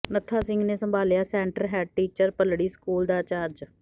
ਨੱਥਾ ਸਿੰਘ ਨੇ ਸੰਭਾਲਿਆਂ centre head teacher Bhallri school ਦਾ ਚਾਰਜ